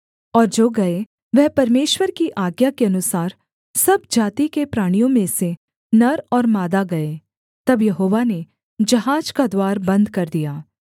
और जो गए वह परमेश्वर की आज्ञा के अनुसार सब जाति के प्राणियों में से नर और मादा गए तब यहोवा ने जहाज का द्वार बन्द कर दिया